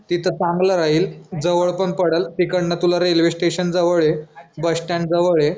तिथं चांगलं राहील जवळ पण पडलं तिकडनं तुला रेल्वे स्टेशन जवळ ये बस स्टॅन्ड जवळ ये.